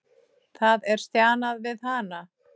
Það er stjanað við hana.